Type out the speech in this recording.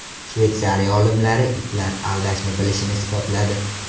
Shveysariya olimlari itlar aldashni bilishini isbotladi .